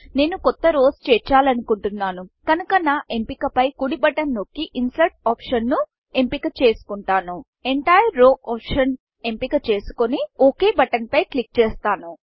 నేను కొత్త rowsరోస్ చేర్చలనుకుంటున్నాను కనుక నా ఎంపిక పై కుడి బటన్ నొక్కి ఇన్సెర్ట్ optionఇన్సర్ట్ ఆప్షన్ ను ఎంపిక చేసుకుంటాను entire row option entire row ఆప్షన్ఎంపిక చేసుకొని ఒక్ buttonఓకే బటన్ పై clickక్లిక్ చేస్తాను